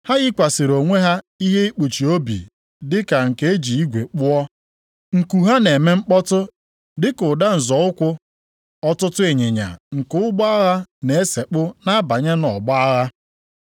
Ha yikwasịrị onwe ha ihe ikpuchi obi dịka nke e ji igwe kpụọ. Nku ha na-eme mkpọtụ dị ka ụda nzọ ụkwụ ọtụtụ ịnyịnya nke ụgbọ agha na-esekpu na-abanye nʼọgbọ agha.